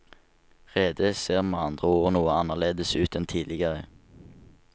Redet ser med andre ord noe annerledes ut enn tidligere.